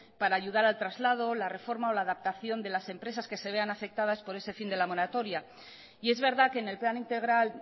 para ayudar al traslado la reforma o la adaptación de las empresas que se vea afectadas por ese fin de la moratoria y es verdad que en el plan integral